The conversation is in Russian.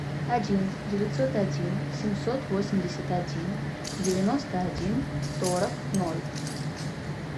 один девятьсот один семьсот восемьдесят один девяносто один сорок ноль